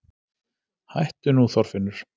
Hættu nú Þorfinnur!